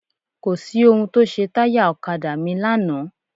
Kò sí ohun tó ṣe táyà ọ̀kadà mi lánàá.